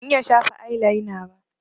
Ban iya shafa ailaina ba